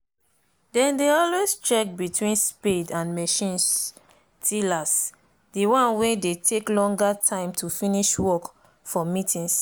then dey always check between spade and machines tillers the one wen dey take longer time to finish work for meetings.